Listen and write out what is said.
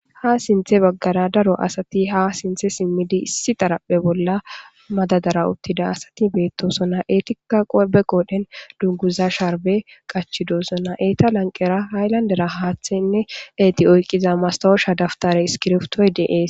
Ha sinthe baggara daro asati ha sinthe simmidi issi taraphe bolla madadara uttida asati beettosona eetika qobe qoodhen dugguza sharbe qachidoosona eeta lanqera haylandera haaththenne eeti oyqqiza masawosha daftare iskirftoy dees.